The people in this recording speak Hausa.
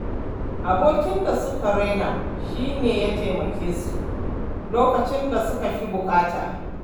Abokin da suka raina shi ne ya taimake su lokacin da suka fi buƙata.